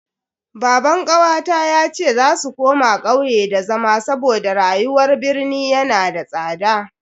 Baban kawata yace za su koma kauye da zama saboda rayuwar birni yana da tsada.